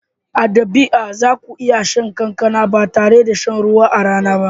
A dabi'a za ku iya shan kankana ba tare da shan ruwa a rana ba.